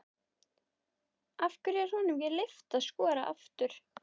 Af hverju er honum ekki leyft að skora aftur?